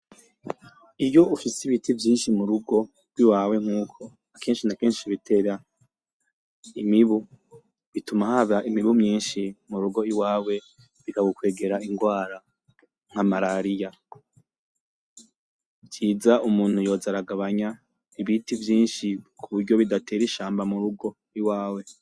Iyo ufise ibiti vyishi mu rugo iwawe nkuko akeshi nakeshi bitera imibu bituma haba imibu myishi mu rugo iwawe bikagukwegera ingwara nk'amarariya, iciza umuntu yoza aragabanya ibiti vyishi kuburyo bidatera ishamba mu rugo iwawe.